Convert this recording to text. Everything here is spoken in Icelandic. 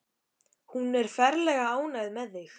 Hún er ferlega ánægð með þig.